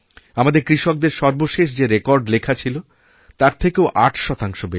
আমাদের কৃষকদের সর্বশেষ যেরেকর্ড লেখা ছিল তার থেকেও আট শতাংশ বেশি